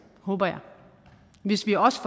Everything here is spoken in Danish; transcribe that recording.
håber jeg hvis vi også